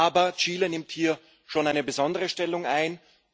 Aber Chile nimmt hier schon eine besondere Stellung ein.